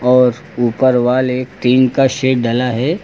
और ऊपर वाले टीन का शेड डला है।